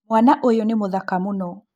Mwana ũyũ nĩ mthaka mũno